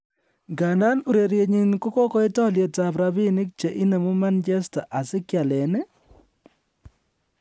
Ngandan urerienyin kogokoit alyet ab rabinik che inemu Manchester United asi kealen iih?